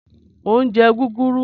Mo ń jẹ́ gúgúrú.